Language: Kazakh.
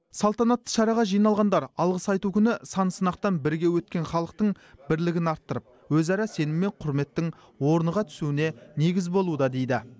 салтанатты шараға жиналғандар алғыс айту күні сан сынақтан бірге өткен халықтың бірлігін арттырып өзара сенім мен құрметтің орныға түсуіне негіз болуда дейді